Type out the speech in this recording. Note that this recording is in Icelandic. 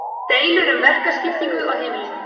deilur um verkaskiptingu á heimilinu